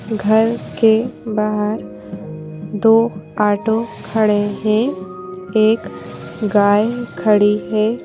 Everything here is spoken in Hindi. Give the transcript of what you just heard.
घर के बाहर दो ऑटो खड़े हैं एक गाय खड़ी है।